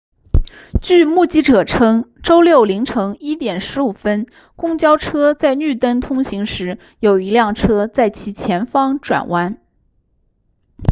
据目击者称周六凌晨1点15分公交车在绿灯通行时有一辆车在其前方转弯